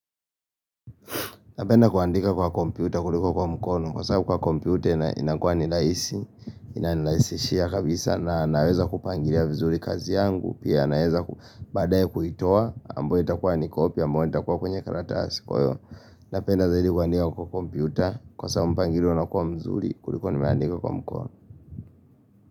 Napenda kuandika kwa kompyuta kuliko kwa mkono, kwa sababu kwa kompyuta inakua ni rahisi, inanirahisishia kabisa na naweza kupangilia vizuri kazi yangu, pia naweza badaye kuitoa, ambayo itakuwa ni copy, ambayo itakuwa kwenye karata asi kwa hio. Napenda zaidi kuandika kwa kompyuta, kwa sababu mpangilio unakuwa mzuri kuliko nimeandika kwa mkono.